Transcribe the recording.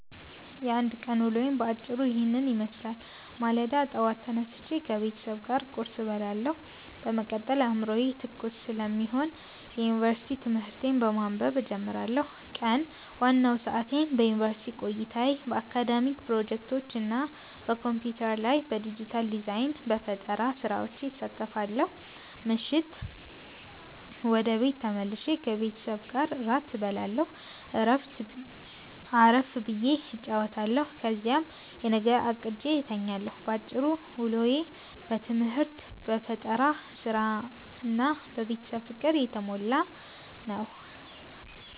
የአንድ ቀን ውሎዬ በአጭሩ ይህንን ይመስላል፦ ማለዳ፦ ጠዋት ተነስቼ ከቤተሰብ ጋር ቁርስ እበላለሁ፤ በመቀጠል አዕምሮዬ ትኩስ ስለሚሆን የዩኒቨርሲቲ ትምህርቶቼን በማንበብ እጀምራለሁ። ቀን፦ ዋናውን ሰዓቴን በዩኒቨርሲቲ ቆይታዬ፣ በአካዳሚክ ፕሮጀክቶች እና በኮምፒውተር ላይ በዲጂታል ዲዛይን/በፈጠራ ሥራዎች አሳልፋለሁ። ምሽት፦ ወደ ቤት ተመልሼ ከቤተሰቤ ጋር እራት እበላለሁ፣ አረፍ ብዬ እጫወታለሁ፤ ከዚያም የነገውን አቅጄ እተኛለሁ። ባጭሩ፤ ውሎዬ በትምህርት፣ በፈጠራ ሥራ እና በቤተሰብ ፍቅር የተሞላ ነው።